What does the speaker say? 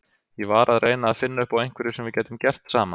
Ég var að reyna að finna upp á einhverju sem við gætum gert saman.